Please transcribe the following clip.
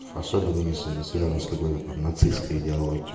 особенно если это связано с какой-то там нацистской идеологией